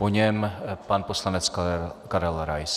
Po něm pan poslanec Karel Rais.